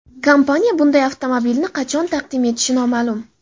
Kompaniya bunday avtomobilni qachon taqdim etishi noma’lum.